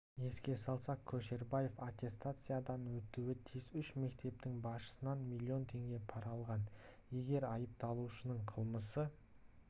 еске салсақ көшербаев аттестациядан өтуі тиіс үш мектептің басшысынан млн теңге пара алған егер айыпталушының қылмысы